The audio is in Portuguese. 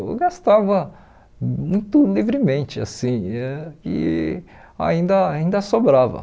Eu gastava muito livremente assim e ainda ainda sobrava.